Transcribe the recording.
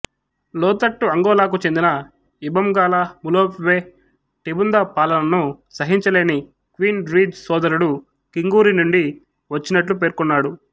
లోతట్టు అంగోలాకు చెందిన ఇంబంగాలా ములోప్వే టిబుంద పాలనను సహించలేని క్వీన్ ర్వీజ్ సోదరుడు కింగూరి నుండి వచ్చినట్లు పేర్కొన్నాడు